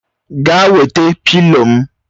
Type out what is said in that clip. Gaa wete pịlo m!